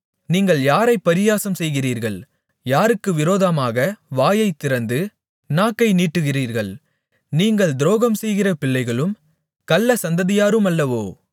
நீங்கள் யாரைப் பரியாசம்செய்கிறீர்கள் யாருக்கு விரோதமாக வாயைத் திறந்து நாக்கை நீட்டுகிறீர்கள் நீங்கள் துரோகம்செய்கிற பிள்ளைகளும் கள்ளச் சந்ததியாருமல்லவோ